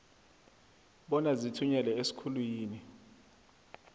bona zithunyelwe esikhulwini